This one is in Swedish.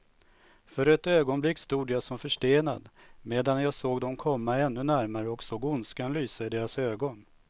För ett ögonblick stod jag som förstenad, medan jag såg dem komma ännu närmare och såg ondskan lysa i deras ögon.